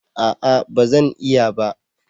A'a ba Zan iya ba